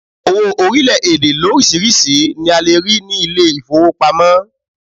Owo orílẹ̀ èdè lórísìíríìsí ni a lè rí ní ilé ìfowópamọ́.